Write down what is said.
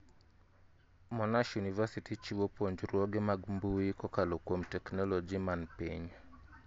Monash University chiwo puonjruoge mag mbuyi kokalo kuom technologi man piny